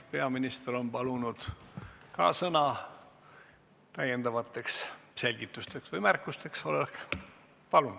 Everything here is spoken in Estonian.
Peaminister on palunud sõna lisaselgitusteks või -märkusteks.